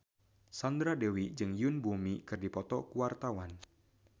Sandra Dewi jeung Yoon Bomi keur dipoto ku wartawan